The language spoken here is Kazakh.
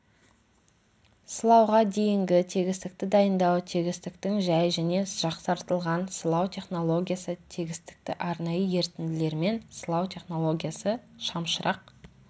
сылауға дейінгі тегістікті дайындау тегістіктің жәй және жақсартылған сылау технологиясы тегістікті арнайы ерітінділермен сылау технологиясы шамшырақ